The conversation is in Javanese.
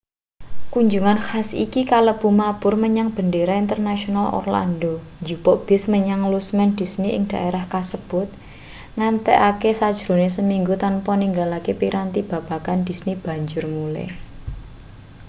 kunjungan khas iki kalebu mabur menyang bendara internasional orlando njupuk bis menyang lusmen disney ing dhaerah kasebut ngentekake sajrone seminggu tanpa ninggalake piranti babagan disney banjur mulih